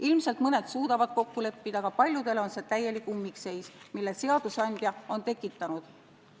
Ilmselt mõned suudavad kokku leppida, aga paljudele on see täielik ummikseis, mille seadusandja on tekitanud.